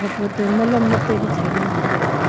photo ma long dat panu sai ngantai.